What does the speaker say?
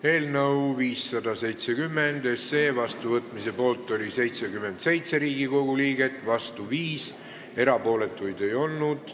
Hääletustulemused Eelnõu 570 seadusena vastuvõtmise poolt oli 77 Riigikogu liiget ja vastu 5, erapooletuid ei olnud.